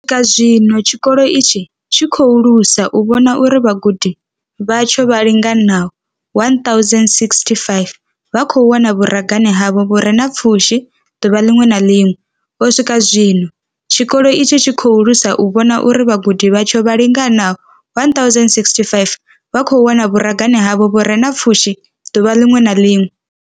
U swika zwino, tshikolo itshi tshi lusa u vhona uri vhagudi vhatsho vha linganaho 1 065 vha khou wana vhuragane havho vhu re na pfushi ḓuvha ḽiṅwe na ḽiṅwe. U swika zwino, tshikolo itshi tshi lusa u vhona uri vhagudi vhatsho vha linganaho 1 065 vha khou wana vhuragane havho vhu re na pfushi ḓuvha ḽiṅwe na ḽiṅwe.